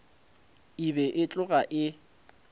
e be e tloga e